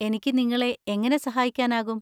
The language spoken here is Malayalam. എനിക്ക് നിങ്ങളെ എങ്ങനെ സാഹായിക്കാനാകും?